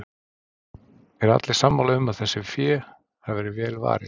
Eru allir sammála um að þessu fé hafi verið vel varið?